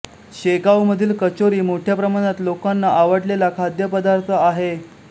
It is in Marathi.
शेंगाव मधील कचोरी मोठ्या प्रमाणात लोकांना आवडलेला खाद्य पदार्थ आहे